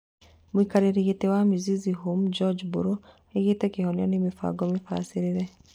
Mũikarĩri gĩtĩ wa Mizizi Homes George Mbũrũ oigĩte kĩhonia nĩ mĩbango-inĩ mĩbacĩrĩre